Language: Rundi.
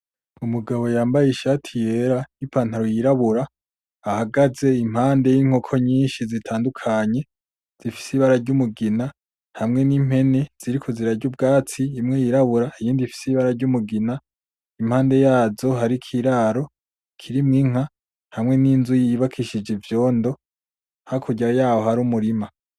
Umugabo yambaye Ishati yera n'Ipantaro yirabura ahagaze impande y'inkoko nyinshi, zitandukanye zifise ibara ry'umugina hamwe n'impene, ziriko zirarya ubwatsi, imwe y'irabura iyindi ifise ibara ry' umugina, impande yazo harik'iraro kirimwo inka hamwe n'inzu yubakishijwe ivyondo, hakurya yaho hari umurima.